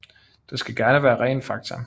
Det skal gerne være ren fakta